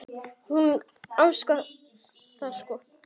Hún á heima þar sko.